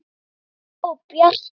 Ásta og Bjarki.